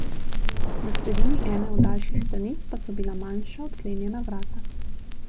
Na sredini ene od daljših stranic pa so bila manjša, odklenjena vrata.